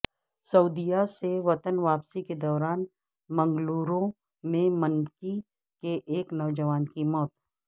سعودیہ سے وطن واپسی کے دوران منگلورو میں منکی کے ایک نوجوان کی موت